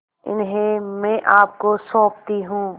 इन्हें मैं आपको सौंपती हूँ